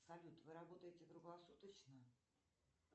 салют вы работаете круглосуточно